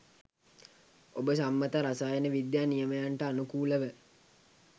ඔබ සම්මත රසායන විද්‍යා නියමයන්ට අනුකූලව